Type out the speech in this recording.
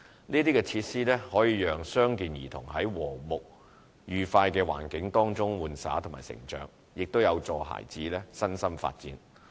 這些設施可讓傷健兒童在和睦愉快的環境中玩耍和成長，也有助孩子的身心發展。